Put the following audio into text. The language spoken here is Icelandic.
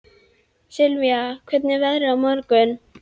Sylvía, hvernig er veðrið á morgun?